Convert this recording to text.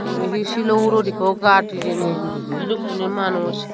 ibe hi silo hurot ekko gat hijeni idukkun hi manus.